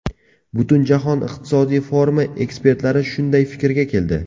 Butunjahon iqtisodiy forumi ekspertlari shunday fikrga keldi .